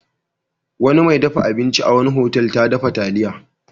Wani mai dafa abinci a wani otal ta dafa taliya.